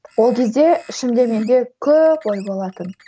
ол кезде ішімде менде көп ой болатын